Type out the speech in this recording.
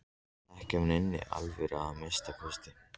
Ekki af neinni alvöru að minnsta kosti.